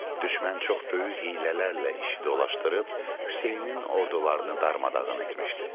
Düşmən çox böyük hiylələrlə işi dolaşdırıb Hüseynin ordularını darmadağın etmişdi.